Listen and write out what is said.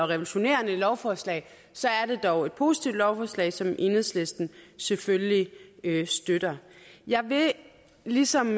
revolutionerende lovforslag så er det dog et positivt lovforslag som enhedslisten selvfølgelig støtter jeg vil ligesom